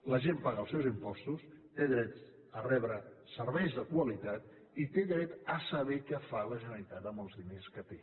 la gent paga els seus impostos té dret a rebre serveis de qualitat i té dret a saber què fa la generalitat amb els diners que té